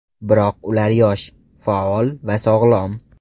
Biroq ular yosh, faol va sog‘lom.